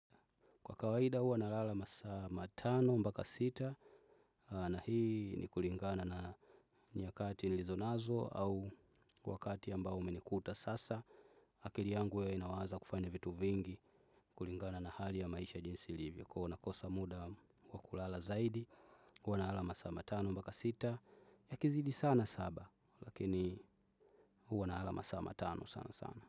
Kwa kawaida huwa nalala masaa matano mpaka sita na hii ni kulingana na nyakati nilizonazo au wakati ambao umenikuta sasa. Akili yangu huwa inawaza kufanya vitu vingi kulingana na hali ya maisha jinsi livyo. Kwa hivyo nakosa muda wa kulala zaidi huwa nalala masaa tano mpaka sita yakizidi sana saba lakini huwa nalala masaa matano sana sana.